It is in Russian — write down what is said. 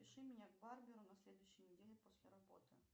запиши меня к барберу на следующей неделе после работы